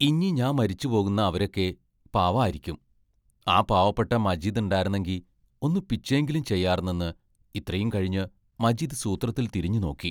ഇഞ്ഞി ഞാമ്മരിച്ചുപോകുന്ന അവരൊക്കെ പാവാരിക്കും, ആ പാവപ്പെട്ട മജീദാണ്ടാർന്നെങ്കി ഒന്ന് പിച്ചേങ്കിലും ചെയ്യാർന്നെന്ന് ഇത്രയും കഴിഞ്ഞ് മജീദ് സൂത്രത്തിൽ തിരിഞ്ഞുനോക്കി.